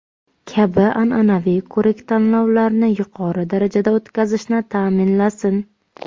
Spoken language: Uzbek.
kabi an’anaviy ko‘rik-tanlovlarni yuqori darajada o‘tkazishni ta’minlasin.